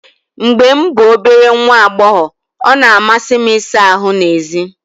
Mgbe m bụ obere nwa agbọghọ, ọ na-amasị m ịsa ahụ́ n’èzí.